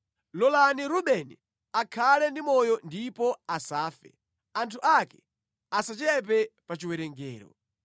“Lolani Rubeni akhale ndi moyo ndipo asafe, anthu ake asachepe pa chiwerengero.”